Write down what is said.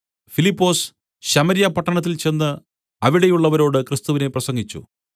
ഫിലിപ്പൊസ് Samaria പട്ടണത്തിൽ ചെന്ന് അവിടെയുള്ളവരോട് ക്രിസ്തുവിനെ പ്രസംഗിച്ചു